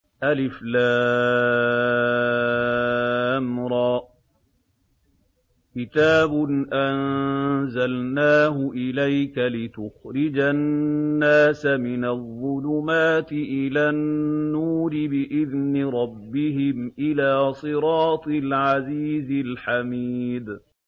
الر ۚ كِتَابٌ أَنزَلْنَاهُ إِلَيْكَ لِتُخْرِجَ النَّاسَ مِنَ الظُّلُمَاتِ إِلَى النُّورِ بِإِذْنِ رَبِّهِمْ إِلَىٰ صِرَاطِ الْعَزِيزِ الْحَمِيدِ